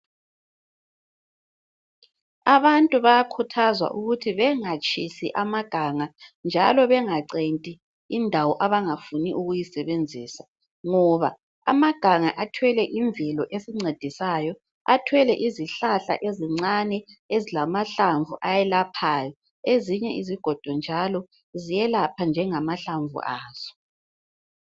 Abantu bayakhuthazwa ukuthi bengatshisi amaganga njalo bengacenti indawo abangafuni ukuyisebenzisa ngoba amaganga athwele imvelo esigcedisayo athwele izihlahla ezincane ezilamahlamvu ayelaphayo ezinye izigodo njalo ziyelapha njengamahlamvu azo